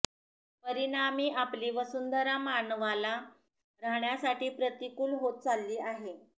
परिणामी आपली वसुंधरा मानवाला राहण्यासाठी प्रतिकूल होत चालली आहे